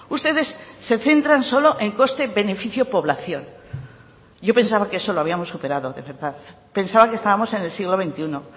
ustedes se centran solo en coste beneficio población yo pensaba que eso lo habíamos superado de verdad pensaba que estábamos en el siglo veintiuno